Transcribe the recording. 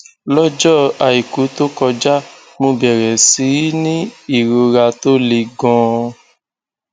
lọjọ àìkú tó kọjá mo bẹrẹ sí í ní ìrora tó le ganan